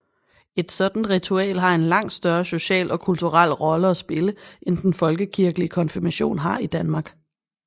Et sådant ritual har en langt større social og kulturel rolle at spille end den folkekirkelige konfirmation har i Danmark